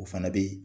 O fana bɛ